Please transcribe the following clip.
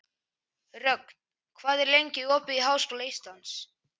Rögn, hvað er lengi opið í Háskóla Íslands?